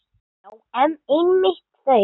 Já, einmitt þau!